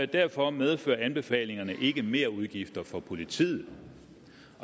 derfor medfører anbefalingerne ikke merudgifter for politiet